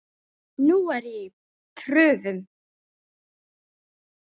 Nú er ég í prufum.